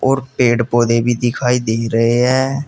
और पेड़ पौधे भी दिखाई दे रहे हैं।